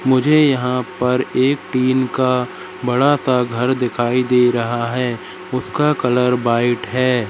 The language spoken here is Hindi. मुझे यहां पर एक टीन का बड़ा सा घर दिखाई दे रहा है उसका कलर व्हाइट है।